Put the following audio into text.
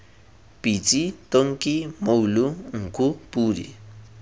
pitsi tonki mmoulo nku podi